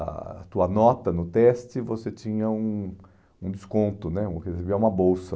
a tua nota no teste, você tinha um um desconto né, recebia uma bolsa.